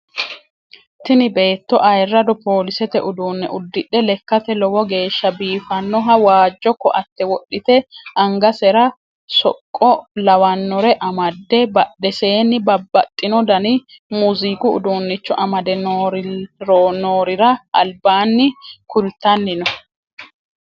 Tini beetto ayirado polisete uduunne udidhe lekkate lowo geeshsa biiffannoha waajjo koatte wodhite angasera soqqo lawannore amadde badhesenni babaxinno dani muuziiqu udunnicho amade noorira albanni kultanni no.